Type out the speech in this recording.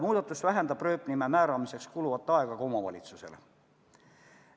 Muudatus vähendab ka aega, mis omavalitsustel rööpnime määramiseks kulub.